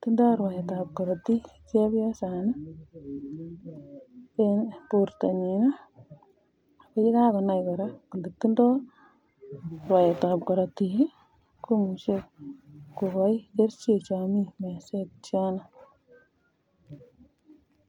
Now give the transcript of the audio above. tindo rwaet ab korotik chepyosaini en bortanyin akoyekakonai koraa kotindo rwaet ab korotik komuche kokai kerchek choton chemii meset